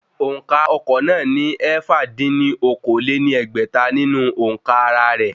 Òǹkà ọkọ̀ náà ní ẹ̀fà dín ní okòó-lé-ní-ẹgbẹ́ta nínú òǹkà ara rẹ̀